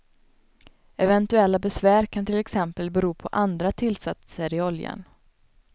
Eventuella besvär kan till exempel bero på andra tillsatser i oljan.